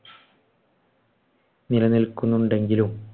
നിലനിൽക്കുന്നുണ്ടെങ്കിലും